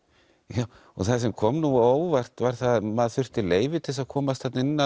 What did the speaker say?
já og það sem kom nú á óvart var að maður þurfti leyfi til að komast þarna inn